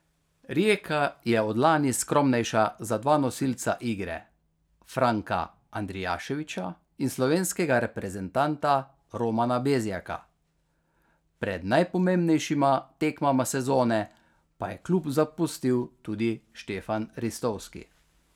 Rijeka je od lani skromnejša za dva nosilca igre Franka Andrijaševića in slovenskega reprezentanta Romana Bezjaka, pred najpomembnejšima tekmama sezone pa je klub zapustil tudi Stefan Ristovski.